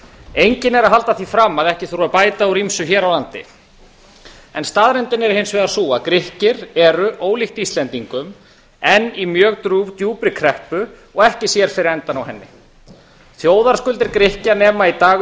enginn er að halda því fram að ekki þurfi að bæta úr ýmsu hér á landi en staðreyndin er hins vegar sú að grikkir eru ólíkt íslendingum enn í mjög djúpri kreppu og ekki sér fyrir endann á henni þjóðarskuldir grikkja nema í dag